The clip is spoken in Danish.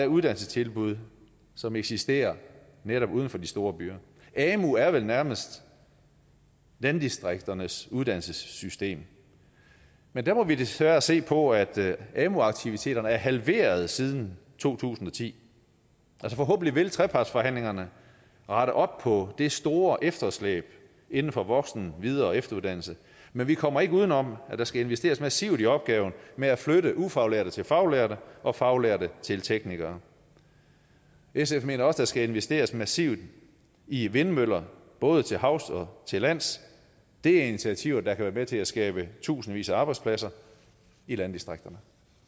uddannelsestilbud som eksisterer netop uden for de store byer amu er vel nærmest landdistrikternes uddannelsessystem men der må vi desværre se på at amu aktiviteterne er halveret siden to tusind og ti forhåbentlig vil trepartsforhandlingerne rette op på det store efterslæb inden for voksen videre og efteruddannelse men vi kommer ikke uden om at der skal investeres massivt i opgaven med at flytte ufaglærte til faglærte og faglærte til teknikere sf mener også at der skal investeres massivt i vindmøller både til havs og til lands det er initiativer der kan være med til at skabe tusindvis af arbejdspladser i landdistrikterne